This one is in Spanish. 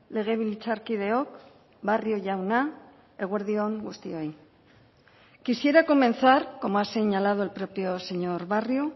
legebiltzarkideok barrio jauna eguerdi on guztioi quisiera comenzar como ha señalado el propio señor barrio